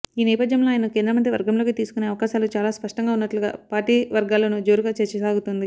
ఈ నేపథ్యంలో ఆయనను కేంద్రమంత్రి వర్గంలోకి తీసుకునే అవకాశాలు చాలా స్పష్టంగా ఉన్నట్లుగా పార్టీ వర్గాల్లోనూ జోరుగా చర్చ సాగుతోంది